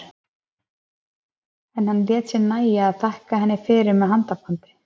En hann lét sér nægja að þakka henni fyrir með handabandi.